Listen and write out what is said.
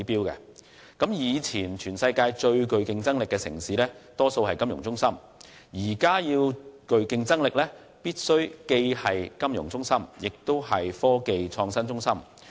以往全球最具競爭力的城市大多數為金融中心，而現時最具競爭力的城市則必須既是金融中心，也是科技創新中心。